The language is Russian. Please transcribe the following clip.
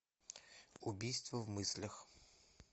убийство в мыслях